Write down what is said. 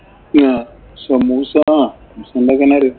സമൂസയാണോ ഉണ്ടാക്കാന്‍